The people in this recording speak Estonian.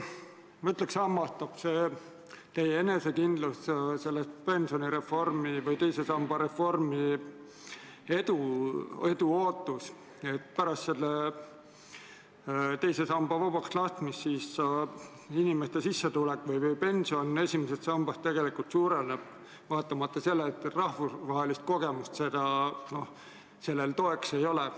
Ma ütleks, et mind hämmastab teie enesekindlus pensionireformi või teise samba reformi edus, ootus, et pärast teise samba vabaks laskmist inimeste sissetulek või esimesest sambast makstav pension suureneb, vaatamata sellele et rahvusvahelist kogemust toeks ei ole.